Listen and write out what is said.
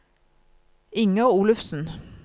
Inger Olufsen